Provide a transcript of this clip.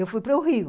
Eu fui para o Rio.